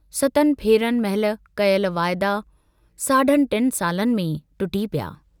सतनि फेरनि महल कयल वाइदा साढनि टिन सालनि में ई टुटी पिया।